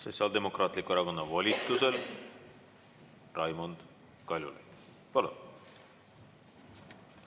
Sotsiaaldemokraatliku Erakonna volitusel Raimond Kaljulaid, palun!